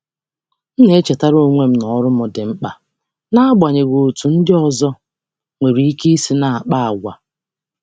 M na-echetara onwe m na ọrụ m dị mkpa, n’agbanyeghị otú ndị ọzọ si akpa àgwà.